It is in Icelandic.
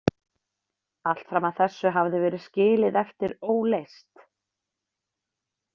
Allt fram að þessu hafði verið skilið eftir óleyst.